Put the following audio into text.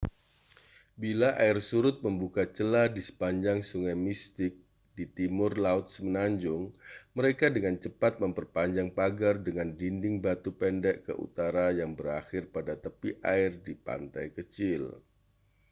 bila air surut membuka celah di sepanjang sungai mystic di timur laut semenanjung mereka dengan cepat memperpanjang pagar dengan dinding batu pendek ke utara yang berakhir pada tepi air di pantai kecil